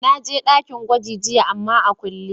Na je dakin gwagi jiya ama tana a kulle.